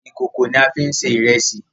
ìkòkò náà ni a fi ń se ìrẹsì